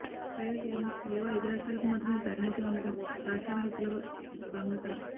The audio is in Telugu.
పైగా కేవలం ఏవో ఐదు రాష్ట్రాలకు మాత్రమే ప్రాతినిధ్యం ఉండడం రాష్ట్రాల హక్కులకు భంగకరం